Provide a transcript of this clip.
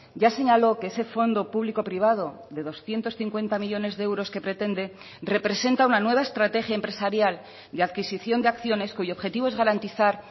ya señaló que ese fondo publico privado de doscientos cincuenta millónes de euros que pretende representa una nueva estrategia empresarial de adquisición de acciones cuyo objetivo es garantizar